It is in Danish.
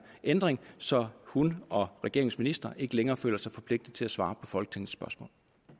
ændring så hun og regeringens ministre ikke længere føler sig forpligtet til at svare på folketingets spørgsmål